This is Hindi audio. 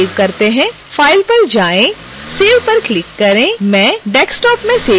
file पर जाएं और save पर क्लिक करें मैं desktop में सेव करूँगी